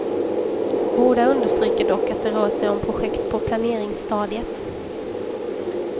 Båda understryker dock att det rör sig om projekt på planeringsstadiet.